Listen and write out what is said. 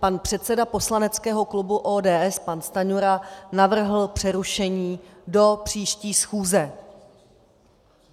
Pan předseda poslaneckého klubu ODS, pan Stanjura, navrhl přerušení do příští schůze.